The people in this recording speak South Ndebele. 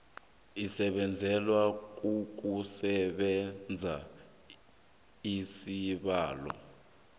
esibekelwe ukusebenza isibawo